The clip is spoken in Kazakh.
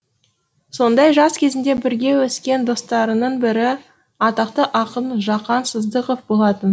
сондай жас кезінде бірге өскен достарының бірі атақты ақын жақан сыздықов болатын